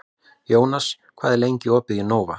Jónas, hvað er lengi opið í Nova?